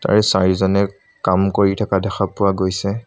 আৰু চাৰিজনে কাম কৰি থকা দেখা পোৱা গৈছে।